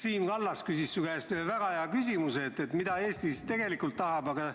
Siim Kallas küsis su käest väga hea küsimuse: mida Eesti tegelikult tahab?